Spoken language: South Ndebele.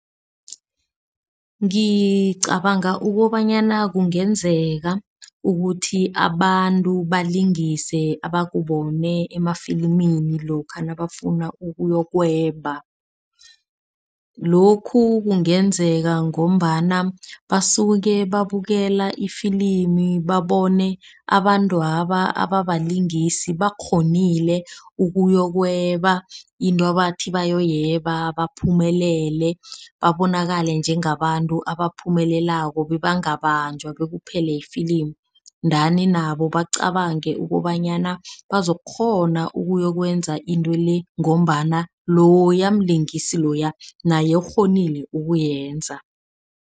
Ngicabanga ukobanyana kungenzeka ukuthi abantu balingise abakubone emafilimini, lokha nabafuna ukuyokweba. Lokhu kungenzeka ngombana basuke babukela ifilimu, babone abantwaba ababalingisi bakghonile ukuyokweba into ebathi bayoyeba baphumelele. Babonakale njengabantu abaphumeleleko bebangabanjwa bekuphele ifilimu. Ndani nabo bacabange ukobanyana bazokukghona ukuyokwenza into le ngombana loya mlingisi loya naye ukghonile ukuyenza.